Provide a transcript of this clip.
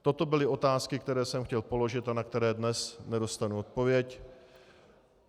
Toto byly otázky, které jsem chtěl položit a na které dnes nedostanu odpověď.